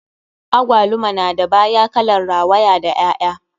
Agwaluma na da baya kalan rawaya da ƴaƴa.